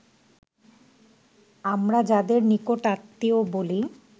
আমরা যাদের নিকট-আত্মীয় বলি